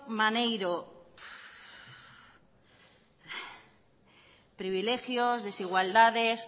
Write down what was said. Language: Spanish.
maneiro privilegios desigualdades